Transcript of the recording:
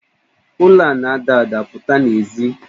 Ụlo a na-ada ada, pụta n'èzí!